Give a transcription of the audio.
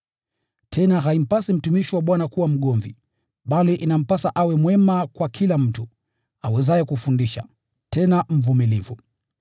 Tena haimpasi mtumishi wa Bwana kuwa mgomvi, bali inampasa awe mwema kwa kila mtu, awezaye kufundisha, tena mvumilivu.